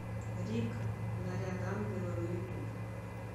рик наряд ангела на ютуб